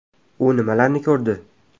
U nimalarni ko‘rdi?.